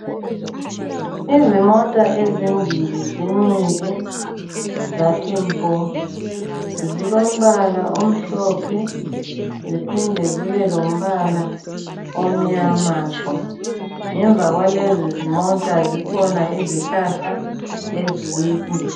Izimota ezimbili zimile zathi mpo. Zilombala omhlophe ziphinde zibelombala omnyama tshu. Ngemva kwalezi zimota zikhona izihlahla ezinde.